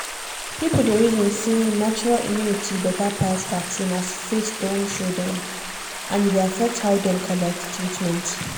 people dey reason say natural immunity better pass vaccine as faith don show dem and e dey affect how dem collect treatment